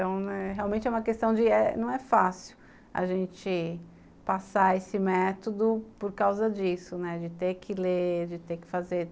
Então, né, realmente é uma questão de não é fácil a gente passar esse método por causa disso, de ter que ler, de ter que fazer.